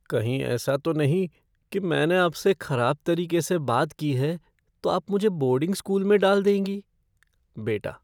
कहीं ऐसा तो नहीं कि मैंने आपसे खराब तरीके से बात की है, तो आप मुझे बोर्डिंग स्कूल में डाल देंगी? बेटा